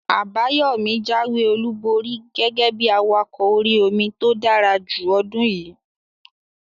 Àbáyọ̀mí jáwé olùborí gẹ́gẹ́ bí awakọ̀ orí-omi tó dára jù ọdún yìí